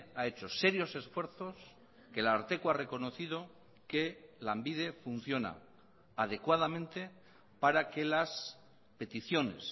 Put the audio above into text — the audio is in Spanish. ha hecho serios esfuerzos que el ararteko ha reconocido que lanbide funciona adecuadamente para que las peticiones